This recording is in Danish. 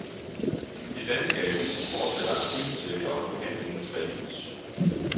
De danske aviser fortsætter artikelserier om behandlingens fallit.